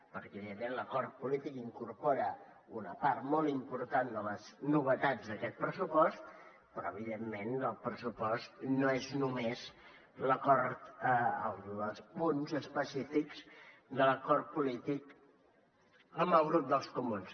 perquè evidentment l’acord polític incorpora una part molt important de les novetats d’aquest pressupost però evidentment el pressupost no és només l’acord els punts específics de l’acord polític amb el grup dels comuns